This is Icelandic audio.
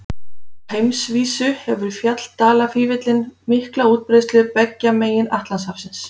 Á heimsvísu hefur fjalldalafífillinn mikla útbreiðslu beggja megin Atlantshafsins.